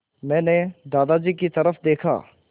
मैंने दादाजी की तरफ़ देखा